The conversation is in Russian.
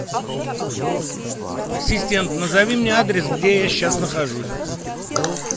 ассистент назови мне адрес где я сейчас нахожусь